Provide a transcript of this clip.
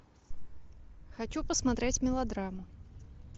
хочу посмотреть мелодраму